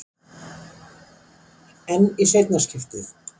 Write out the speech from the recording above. En í seinna skiptið?